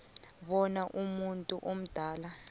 bona umuntu omdala